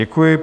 Děkuji.